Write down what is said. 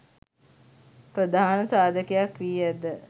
ප්‍රධාන සාධකයක් වී ඇත.